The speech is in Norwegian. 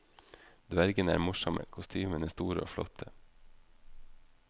Dvergene er morsomme, kostymene store og flotte.